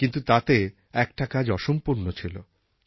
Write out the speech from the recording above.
কিন্তু তাতে একটা কাজ অসম্পূর্ণ ছিল